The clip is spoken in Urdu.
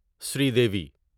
سریدیوی